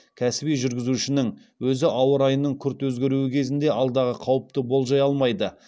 кәсіби жүргізушінің өзі ауа райының күрт өзгеруі кезінде алдағы қауіпті болжай алмайды